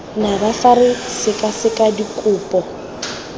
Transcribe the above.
nabo fa re sekaseka dikopo